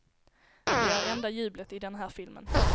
Det är enda jublet i den här filmen.